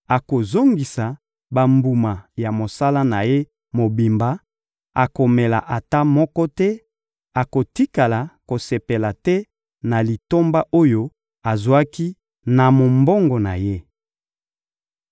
akozongisa bambuma ya mosala na ye mobimba, akomela ata moko te, akotikala kosepela te na litomba oyo azwaki na mombongo na ye.